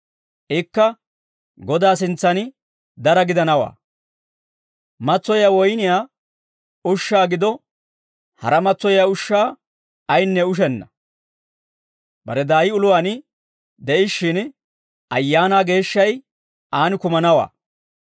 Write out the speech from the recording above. Ikka Godaa sintsan dara gidanawaa. Matsoyiyaa woyniyaa ushshaa gido haraa matsoyiyaa ushshaa ayinne ushenna; bare daay uluwaan de'ishshin Ayaanaa Geeshshay aan kumanawaa.